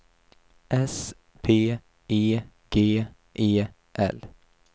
S P E G E L